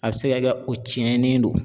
A bɛ se ka kɛ o cɛnnen do.